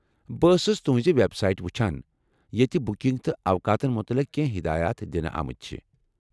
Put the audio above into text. بہٕ ٲسٕس تہٕنٛز وٮ۪ب سایٹ وُچھان، ییٚتہ بُکِنگ تہٕ اوقاتن متعلق کٮ۪نٛہہ ہِدایات دِنہٕ آمٕتۍ چھِ ۔